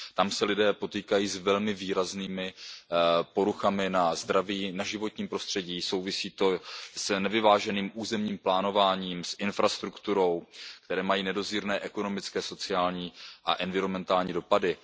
Tam se lidé potýkají s velmi výraznými poruchami na zdraví, na životním prostředí souvisí to s nevyváženým územním plánováním, s infrastrukturou které mají nedozírné ekonomické, sociální a environmentální dopady.